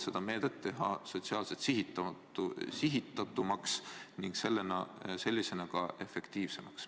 Selle meetme saaks teha sotsiaalselt sihitatumaks ning sellisena ka efektiivsemaks.